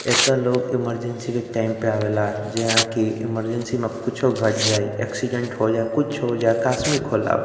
एता लोग इमरजेंसी के टाइम पे आवेला। जहां कि इमरजेंसी में कुछो घट जाई एक्सीडेंट हो जाये या कुछ हो जाये अकास्मिक होला।